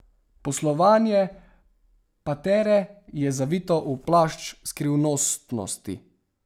Poslovanje Patere je zavito v plašč skrivnostnosti.